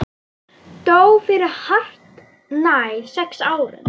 Dó fyrir hartnær sex árum.